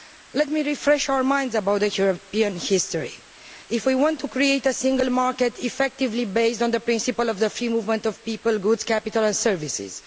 Let me refresh our minds about European history if we want to create a single market effectively based on the principle of the free movement of people, goods, capital and services